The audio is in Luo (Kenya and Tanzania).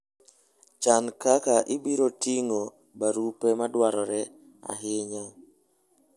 Chan kaka ibiro ting'o barupe madwarore ahinya.